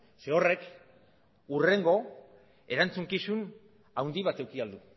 zeren horrek hurrengo erantzukizun handi bat eduki ahal du